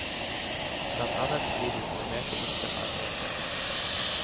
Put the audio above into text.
Blant annet fordi de involverte ikke har hørt den.